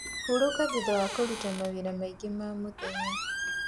Huruka thutha wa kũrũta mawĩra maĩ ngi ma mũthenya